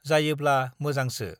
जायोब्ला मोजांसो ।